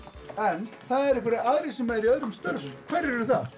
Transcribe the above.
en það eru aðrir sem eru í öðrum störfum hverjir eru það